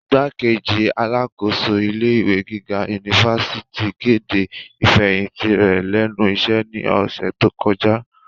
Igbákejì alákòóso ilé ìwé gíga unifásitì kede ifẹhinti rẹ lẹnu iṣẹ ni ọsẹ to kọja.